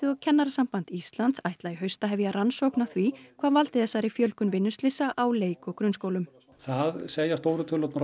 og Kennarasamband Íslands ætla í haust að hefja rannsókn á því hvað valdi þessari fjölgun vinnuslysa á leik og grunnskólum það segja stóru tölurnar